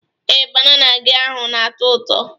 Ee, banana gị ahụ na-ato ụtọ.